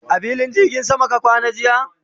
a filin jirgin sama ka kwana jiya?